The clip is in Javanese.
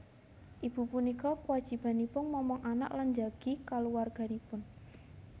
Ibu punika kwajibanipun momong anak lan njagi kaluwarganipun